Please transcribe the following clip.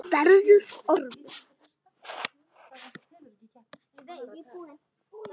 Verður ormur.